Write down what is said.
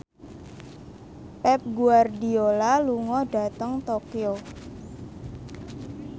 Pep Guardiola lunga dhateng Tokyo